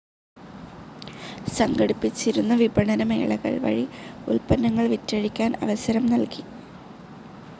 സംഘടിപ്പിച്ചിരുന്ന വിപണന മേളകൾ വഴി ഉല്പന്നങ്ങൾ വിറ്റഴിക്കാൻ അവസരം നൽകി.